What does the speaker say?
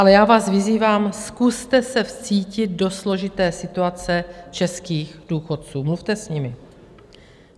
Ale já vás vyzývám, zkuste se vcítit do složité situace českých důchodců, mluvte s nimi.